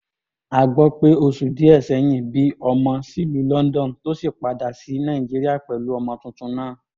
a gbọ́ pé oṣù díẹ̀ sẹ́yìn bí ọmọ sílùú london tó sì ti padà sí nàìjíríà pẹ̀lú ọmọ tuntun náà